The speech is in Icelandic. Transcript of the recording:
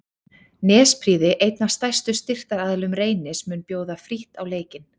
Nesprýði einn af stærstu styrktaraðilum Reynis mun bjóða frítt á leikinn.